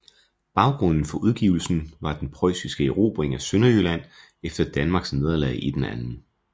Baggrunden for udgivelsen var den preussiske erobring af Sønderjylland efter Danmarks nederlag i den 2